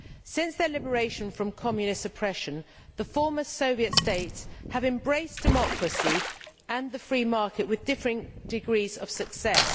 Since their liberation from Communist oppression the former Soviet states have embraced democracy and the free market with differing degrees of success.